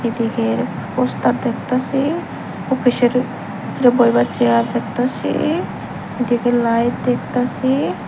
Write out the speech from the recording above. এদিকের পোস্টার দেখতাসি ওফিসের ভিতরে বইবার চেয়ার দেখতাসি এইদিকে লাইট দেখতাসি।